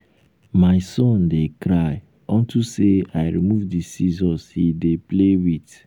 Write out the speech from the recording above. um my son dey cry unto say i remove the scissors he dey um play with